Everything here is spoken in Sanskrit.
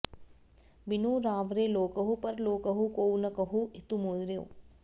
बिनु रावरे लोकहु परलोकहु कोउ न कहूँ हितु मेरो